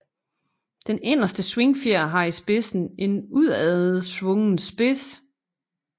De inderste svingfjer har i spidsen en udadsvungen spids